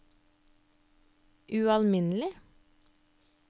ualminnelig